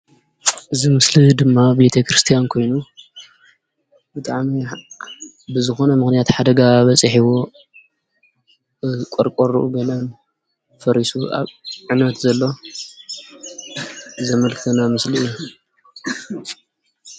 እዚ ምስሊ ድማ ቤተክርስትያን ኮይኑ ብጣዕሚ ብዝኾነ ምክንያት ሓደጋ በፂሕዎ ቆርቆርኡን ገለን ፈሪሱ አብ ዕንወት ዘሎ ዘምልክተና ምስሊ እዩ።